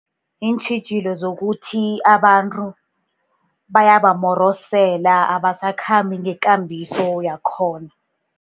Iintjhijilo zokuthi abantu bayabamorosela, abasakhambi ngekambiso yakhona.